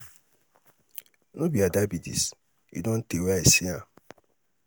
no be ada be dis e don tey wey i see am.